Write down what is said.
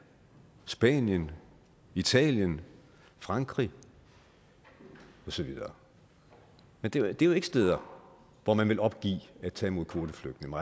spanien italien frankrig og så videre men det er jo ikke steder hvor man vil opgive at tage imod kvoteflygtninge